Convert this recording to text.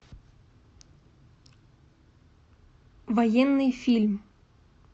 военный фильм